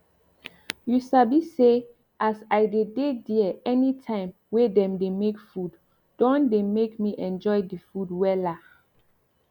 you sabi say as i dey dey there anytime wey dem dey make food don dey make me enjoy the food wella